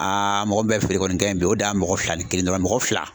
Aa mɔgɔ min bɛ feere kɔni kɛla yen bi, o da ye mɔgɔ fila ni kelen dɔrɔn ye, mɔgɔ fila